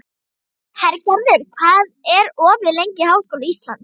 Hergerður, hvað er opið lengi í Háskóla Íslands?